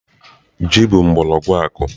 Ji bụ mgbọrọgwụ akuku.